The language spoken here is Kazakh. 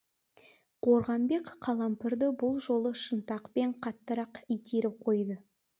қорғамбек қалампырды бұл жолы шынтақпен қаттырақ итеріп қойды